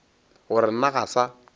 gore le nna ga sa